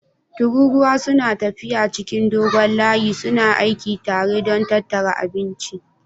Tururuwa suna tafiya cikin dogon layi suna aiki tare don tattara abinci